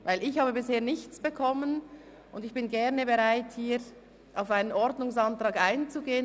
Ich habe bisher nichts erhalten und bin gerne bereit, auf einen Ordnungsantrag einzugehen.